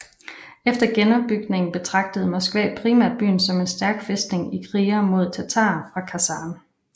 Efter genopbygningen betragtede Moskva primært byen som en stærk fæstning i krigene mod tatarerne fra Kasan